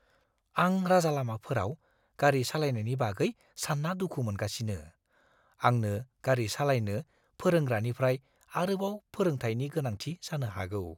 आं राजालामाफोराव गारि सालायनायनि बागै सानना दुखु मोनगासिनो, आंनो गारि सालायनो फोरोंग्रानिफ्राय आरोबाव फोरोंथायनि गोनांथि जानो हागौ।